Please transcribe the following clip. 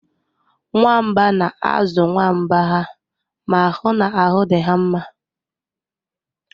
Nwamba na-azụ nwa nwamba ha ma hụ na ahụ dị ha mma